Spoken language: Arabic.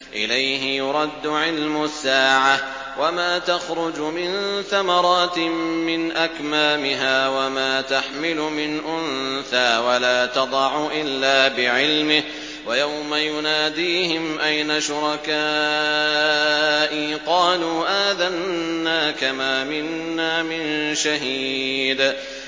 ۞ إِلَيْهِ يُرَدُّ عِلْمُ السَّاعَةِ ۚ وَمَا تَخْرُجُ مِن ثَمَرَاتٍ مِّنْ أَكْمَامِهَا وَمَا تَحْمِلُ مِنْ أُنثَىٰ وَلَا تَضَعُ إِلَّا بِعِلْمِهِ ۚ وَيَوْمَ يُنَادِيهِمْ أَيْنَ شُرَكَائِي قَالُوا آذَنَّاكَ مَا مِنَّا مِن شَهِيدٍ